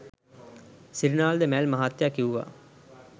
සිරිනාල් ද මැල් මහත්තයා කිව්වා.